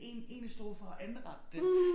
Én én stod for at anrette det